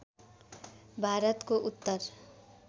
भारतको उत्तर